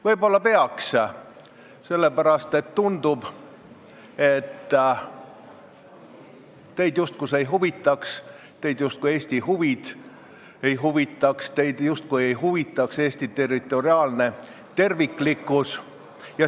Võib-olla peaks, sellepärast et tundub, justkui teid see ei huvitaks, justkui teid Eesti huvid ei huvitaks, justkui teid Eesti territoriaalne terviklikkus ei huvitaks.